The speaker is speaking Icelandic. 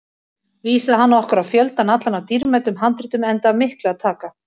Vísaði hann okkur á fjöldann allan af dýrmætum handritum, enda af miklu að taka.